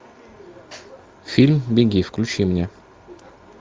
фильм беги включи мне